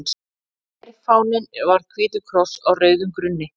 Herfáninn var hvítur kross á rauðum grunni.